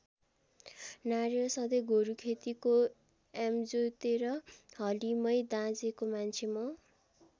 नारेर सधैँ गोरू खेतीको यामजोतेर हली मै दाँजेको मान्छे म।